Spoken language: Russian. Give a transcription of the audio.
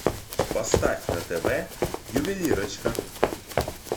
поставь на тв ювелирочка